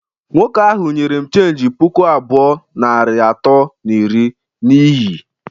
Nwoke ahụ nyere m cheenji puku abụọ, narị atọ na iri na ihi